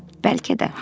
Bəlkə də haqlı idi.